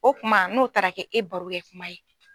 O kuma n'o taara kɛ e baro kɛ kuma ye.